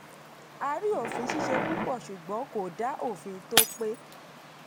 a rí òfin ṣíṣe púpọ̀ ṣùgbọ́n kò dá òfin tó pé.